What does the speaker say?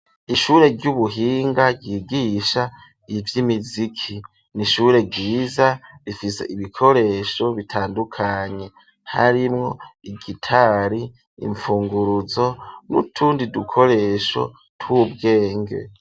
Ishure ry'ubuhinga ryigisha ivy'imiziki n'ishure ryiza rifise ibikoresho bitandukanye harimwo igitari imfunguruzo n'utundi dukoresho tw'ubwenge.